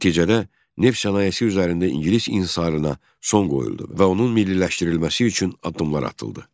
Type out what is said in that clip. Nəticədə neft sənayesi üzərində ingilis inhisarına son qoyuldu və onun milliləşdirilməsi üçün addımlar atıldı.